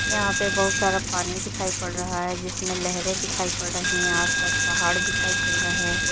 यहां पे बहुत सारा पानी दिखाई पड़ रहा है जिसमें लहरें दिखाई पड़ रही है आस पास पहाड़ दिखाई पड़ रहे हैं।